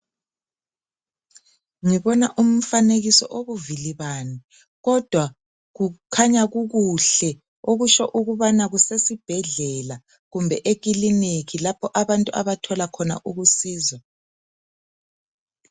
Ngibona umfanekiso ibuvilibani kodwa kukhanya kukuhle okutsho ukubana kusesibhedlela kumbe ekiliniki lapho abantu abathola khona ukusizwa.